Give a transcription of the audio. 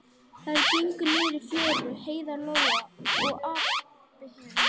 Þær gengu niður í fjöru, Heiða, Lóa Lóa og Abba hin.